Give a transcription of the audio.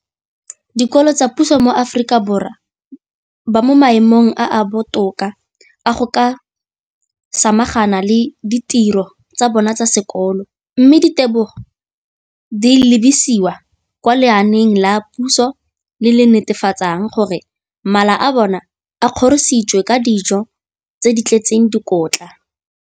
Dikolo tsa puso mo Aforika Borwa ba mo maemong a a botoka a go ka samagana le ditiro tsa bona tsa sekolo, mme ditebogo di lebisiwa kwa lenaaneng la puso le le netefatsang gore mala a bona a kgorisitswe ka dijo tse di tletseng dikotla.